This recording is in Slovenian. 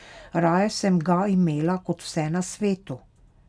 Raje sem ga imela kot vse na svetu.